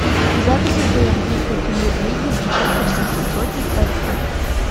запись игры английской премьер лиги манчестер сити против эвертон